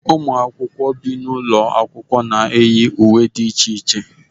Ụmụ akwụkwọ bi n'ụlọ akwụkwọ na-eyi uwe dị iche iche.